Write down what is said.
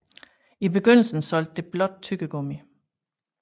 I begyndelsen solgte det blot tyggegummi